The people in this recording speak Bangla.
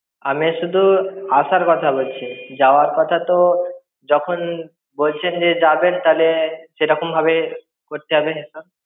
আমি শুধু আসার কথা বলছি যাওয়ার কথা তো যখন বলছেন যে যাবেন তাহলে সেইরকম ভাবে করতে হবে হিসাব.